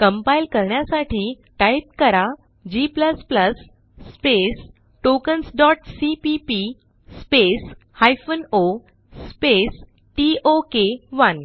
compile करण्यासाठी type करा g tokensसीपीपी ओ टोक 1